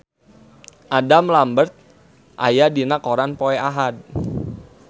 Adam Lambert aya dina koran poe Ahad